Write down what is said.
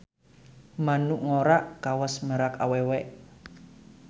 Manuk ngora kawas merak awewe.